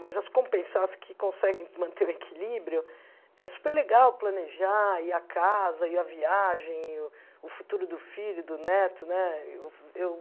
Mas as compensadas que conseguem manter o equilíbrio, é superlegal planejar, e a casa, e a viagem, e o futuro do filho, do neto né eu